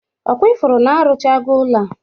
Ọ kwa ị fụrụ na-arụchawago ụlọ a?